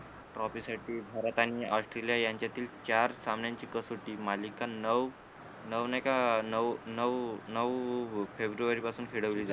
trophy साठी भारत आणि Australia यांच्यातील चार सामन्यांची कसोटी मालिका नऊ नऊने का नऊ नऊ नऊ फेब्रुवारी पासून फिरवली जात